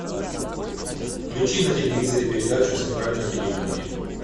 включи на телевизоре передачу центральное телевидение